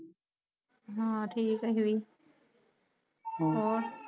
ਹਾ ਠੀਕ ਆ ਅਸੀਂ ਵੀ ਹੋਰ